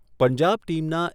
પંજાબ ટીમના